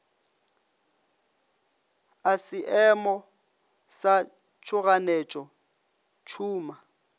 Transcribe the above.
a seemo sa tšhoganetšo tšhuma